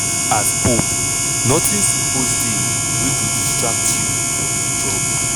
as pope notin suppose dey wey go distract you from di job."